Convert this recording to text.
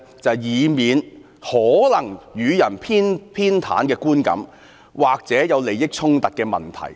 就是以免可能予人偏袒的觀感，或者有利益衝突的問題。